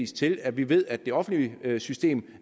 til at vi ved at det offentlige system